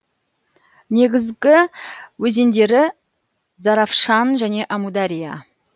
негізгі өзендері заравшан және әмудария